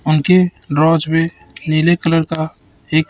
उनके भी नीले कलर का एक--